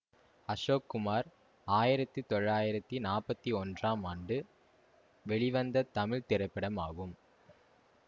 அசோக் குமார் ஆயிரத்தி தொள்ளாயிரத்தி நாற்பத்தி ஒன்றாம் ஆண்டு வெளிவந்த தமிழ் திரைப்படம் ஆகும்